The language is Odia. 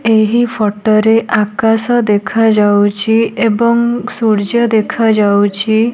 ଏହି ଫଟୋ ରେ ଆକାଶ ଦେଖାଯାଉଚି ଏବଂ ସୂର୍ଯ୍ୟ ଦେଖାଯାଉଚି।